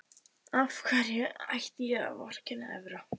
Af hverju ætti ég að vorkenna Evra?